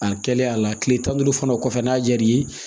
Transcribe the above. A kɛlen a la kile tan ni duuru fana kɔfɛ n'a jar'i ye